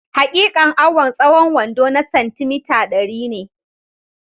Hakikan awan tsahon wando na santi mita, dari ne